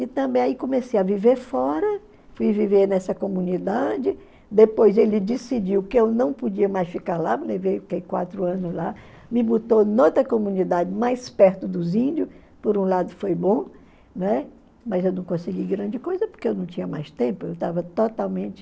E também aí comecei a viver fora, fui viver nessa comunidade, depois ele decidiu que eu não podia mais ficar lá, me levei, fiquei quatro anos lá, me botou em outra comunidade mais perto dos índios, por um lado foi bom, né mas eu não consegui grande coisa, porque eu não tinha mais tempo, eu estava totalmente...